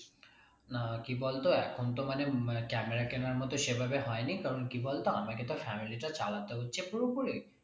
না কি বলতো এখন তো মানে camera কেনার মত সেভাবে হয়নি কারণ কি বলতো আমাকে তো family টা চালাতে হচ্ছে পুরোপুরি